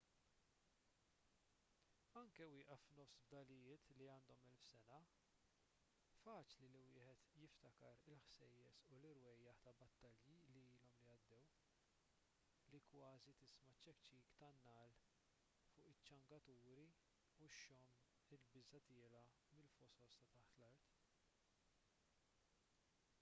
anke wieqaf f'nofs fdalijiet li għandhom elf sena faċli li wieħed jiftakar il-ħsejjes u l-irwejjaħ ta' battalji li ilhom li għaddew li kważi tisma' ċ-ċekċik tan-nagħal fuq iċ-ċangaturi u xxomm il-biża' tiela' mill-fosos ta' taħt l-art